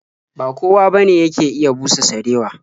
Ba kowa bane yake iya busa sarewa.